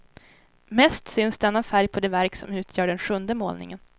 Mest syns denna färg på det verk som utgör den sjunde målningen.